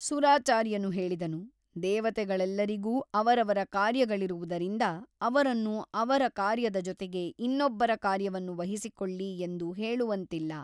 ಸುರಾಚಾರ್ಯನು ಹೇಳಿದನು ದೇವತೆಗಳೆಲ್ಲರಿಗೂ ಅವರವರ ಕಾರ್ಯಗಳಿರುವುದರಿಂದ ಅವರನ್ನು ಅವರ ಕಾರ್ಯದ ಜೊತೆಗೆ ಇನ್ನೊಬ್ಬರ ಕಾರ್ಯವನ್ನು ವಹಿಸಿಕೊಳ್ಳಿ ಎಂದು ಹೇಳುವಂತಿಲ್ಲ.